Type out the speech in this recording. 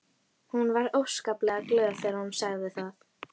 Hún var óskaplega glöð þegar hún sagði það.